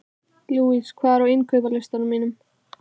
Louise, hvað er á innkaupalistanum mínum?